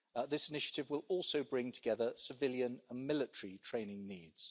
This initiative will also bring together civilian and military training needs.